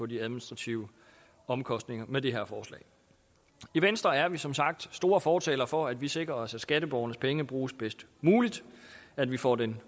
de administrative omkostninger med det her forslag i venstre er vi som sagt store fortalere for at vi sikrer os at skatteborgernes penge bruges bedst muligt at vi får den